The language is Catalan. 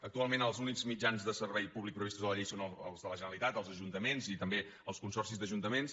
actualment els únics mitjans de servei públic previstos a la llei són els de la generalitat els ajuntaments i també els consorcis d’ajuntaments